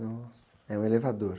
Nossa, é um elevador.